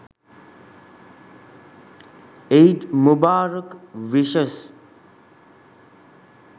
eid mubarak wishes